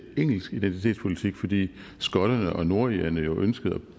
engelsk identitetspolitik fordi skotterne og nordirerne jo ønskede at